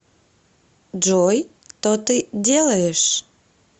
джой то ты делаешь